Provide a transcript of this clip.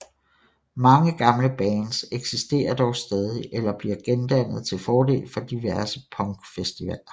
Mange gamle bands eksisterer dog stadig eller bliver gendannet til fordel for diverse punkfestivaler